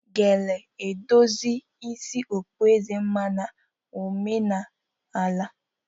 Gele edozi isi okpueze mma na ememe omenala